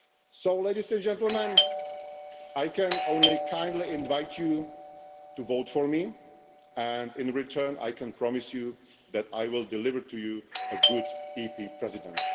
So, Ladies and Gentlemen, I can only kindly invite you to vote for me and, in return, I can promise you that I will deliver you a good European Parliament President.